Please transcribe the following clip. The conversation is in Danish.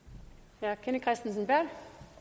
og det er kristensen berth